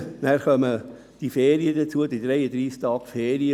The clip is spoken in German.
Dazu kommen die 33 Tage Ferien.